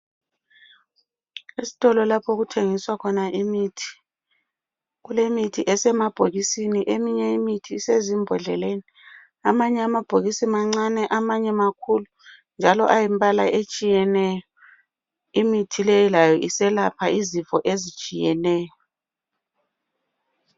Esitolo lapho okuthengiswa khona imithi. Kulemithi esemabhokisini eminye imithi isezimbodleleni. Amanye amabhokisi mancane amanye makhulu njalo ayimbala etshiyeneyo. Imithi leyi layo iselapha izifo ezitshiyeneyo.